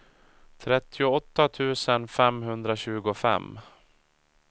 trettioåtta tusen femhundratjugofem